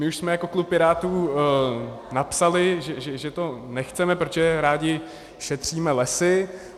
My už jsme jako klub Pirátů napsali, že to nechceme, protože rádi šetříme lesy.